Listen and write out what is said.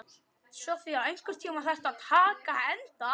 Sofía, einhvern tímann þarf allt að taka enda.